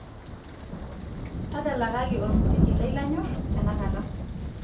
tadalakaki olmusiki lai lanyorr tenakata